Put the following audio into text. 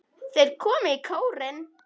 Þeir komu í kórinn.